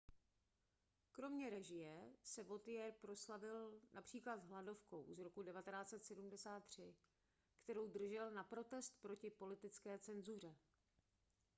kromě režie se vautier proslavil například hladovkou z roku 1973 kterou držel na protest proti politické cenzuře